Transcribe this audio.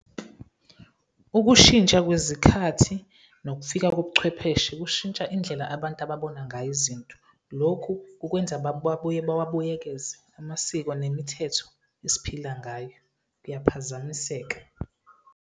Ukushintsha kwezikhathi nokufika kobuchwepheshe kushintsha indlela abantu ababona ngayo izinto. Lokhu kukwenza babuye bawabuyekeze amasiko nemithetho esiphila ngayo, kuyaphazamiseka.